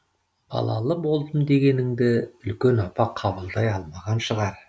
балалы болдым дегеніңді үлкен апа қабылдай алмаған шығар